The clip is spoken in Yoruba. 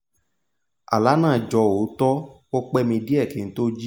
àlá náà jọ òótọ́ ó pẹ́ mi díẹ̀ kí n tó jí